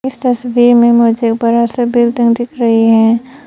इस तस्वीर में मुझे बड़ा सा बिल्डिंग दिख रही है।